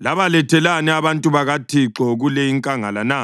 Labalethelani abantu bakaThixo kule inkangala na?